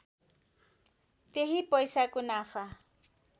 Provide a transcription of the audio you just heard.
त्यही पैसाको नाफा